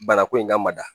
Bana ko in ka mada